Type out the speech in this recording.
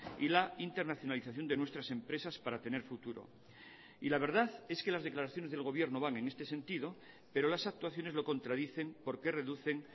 y la internacionalización de nuestras empresas para tener futuro y la verdad es que las declaraciones del gobierno van en este sentido pero las actuaciones lo contradicen porque reducen